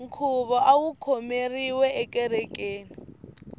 nkhuvo awu khomeriwe ekerekeni